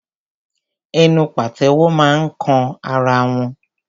Ẹnu pàtẹ́wọ́ máa ń kan ara wọn.